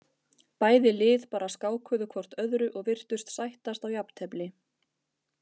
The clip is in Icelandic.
Bæði lið bara skákuðu hvort öðru og virtust sættast á jafntefli.